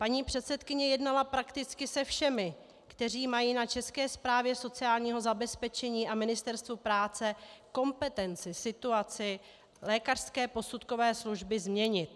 Paní předsedkyně jednala prakticky se všemi, kteří mají na České správě sociálního zabezpečení a Ministerstvu práce kompetenci situaci lékařské posudkové služby změnit.